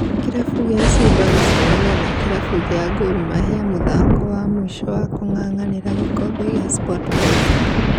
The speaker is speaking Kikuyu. Kĩrabu gĩa Simba gũcemania na Kĩrabu gĩa gor mahia mũthako wa mũico wa kung'ang'anĩra gĩkombe gĩa Sportpesa